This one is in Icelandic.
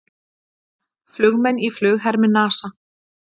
Flugmenn í flughermi NASA.